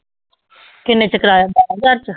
ਕਿੰਨੇ ਚ ਕਰਵਾਇਆ ਬਾਰਾਂ ਹਜ਼ਾਰ ਚ?